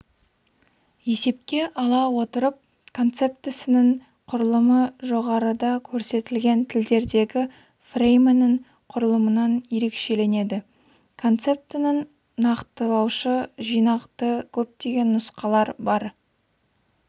есепке ала отырып концептісінің құрылымы жоғарыда көрсетілген тілдердегі фреймінің құрылымынан ерекшеленеді концептінің нақтылаушы жинақты көптеген нұсқалар бар